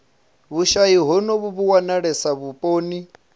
vhushayi honovhu vhu wanalesa vhuponi